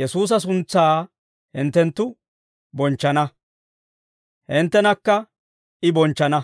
Yesuusa suntsaa hinttenttu bonchchana; hinttenakka I bonchchana.